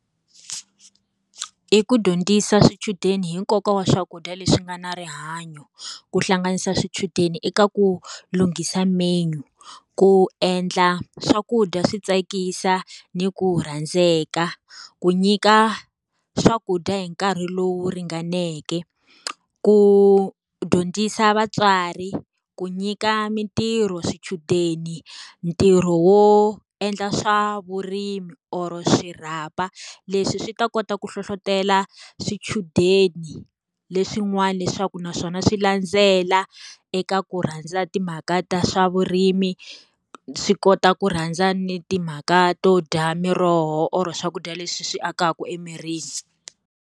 I ku dyondzisa swichudeni hi nkoka wa swakudya leswi nga na rihanyo. Ku hlanganisa swichudeni eka ku lunghisa menu, ku endla swakudya swi tsakisa ni ku tsandzeka, ku nyika swakudya hi nkarhi lowu ringaneke, ku dyondzisa vatswari, ku nyika mintirho swichudeni ntirho wo endla swa vurimi or swirhapa. Leswi swi ta kota ku hlohletela swichudeni leswin'wana leswaku naswona swi landzela eka ku rhandza timhaka ta swa vurimi, swi kota ku rhandza ni timhaka to dya miroho or swakudya leswi swi akaka emirini.